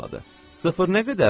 Sıfır nə qədərdir?